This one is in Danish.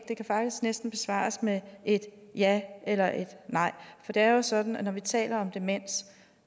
det kan faktisk næsten besvares med et ja eller et nej for det er jo sådan når vi taler om demens